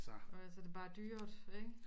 Og så er det bare dyrt ikke